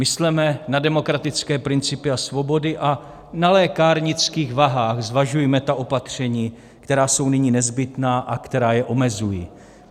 Mysleme na demokratické principy a svobody a na lékárnických vahách zvažujme ta opatření, která jsou nyní nezbytná a která je omezují.